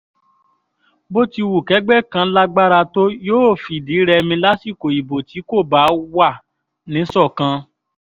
bó ti wu kẹ́gbẹ́ kan lágbára tó yóò fìdí rẹmi lásìkò ìbò tí kò bá wà níṣọ̀kan